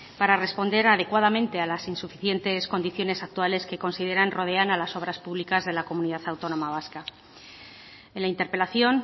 para responder adecuadamente a las insuficientes condiciones actuales que consideran rodean a las obras públicas de la comunidad autónoma vasca en la interpelación